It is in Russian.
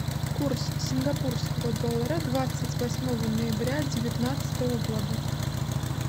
курс сингапурского доллара двадцать восьмого ноября девятнадцатого года